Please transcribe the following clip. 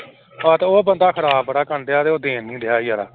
ਹਾਂ ਤੇ ਉਹ ਬੰਦਾ ਖ਼ਰਾਬ ਬੜਾ ਕਰਨਡਿਆ ਤੇ ਉਹ ਦੇ ਨੀ ਰਿਹਾ ਯਾਰ